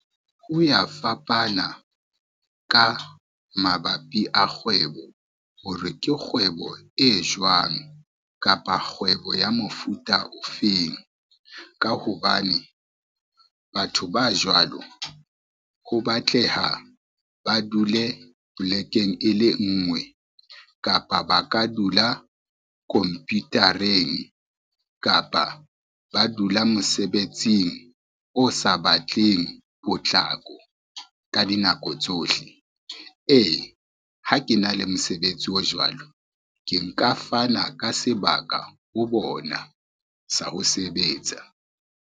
Ho ya fapana ka mabapi a kgwebo hore ke kgwebo e jwang, kapa kgwebo ya mofuta ofeng. Ka hobane batho ba jwalo ho batleha, ba dule polekeng e le ngwe, kapa ba ka dula komputareng, kapa ba dula mosebetsing o sa batleng potlako ka dinako tsohle. E, ha ke na le mosebetsi o jwalo, ke nka fana ka sebaka ho bona sa ho sebetsa.